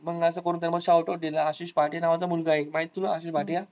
मग असं कोणीतरी shout out दिल आशिष भाटिया नावाचा मुलगा आहे एक माहितीय तुला आशिष भाटिया.